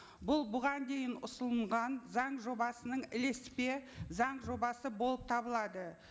бұл бұған дейін ұсынылған заң жобасының ілеспе заң жобасы болып табылады